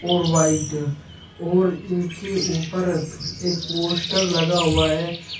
और वाइट और इनके ऊपर एक पोस्टर लगा हुआ है।